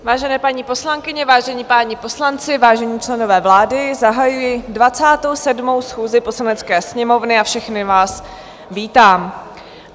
Vážené paní poslankyně, vážení páni poslanci, vážení členové vlády, zahajuji 27. schůzi Poslanecké sněmovny a všechny vás vítám.